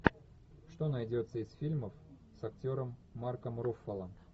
что найдется из фильмов с актером марком руффалом